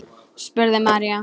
spurði María.